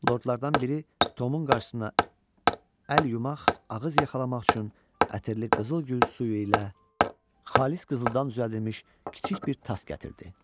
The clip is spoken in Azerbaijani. Lordlardan biri Tomun qarşısına əl yumaq, ağız yaxalamaq üçün ətirli qızıl gül suyu ilə xalis qızıldan düzəldilmiş kiçik bir tas gətirdi.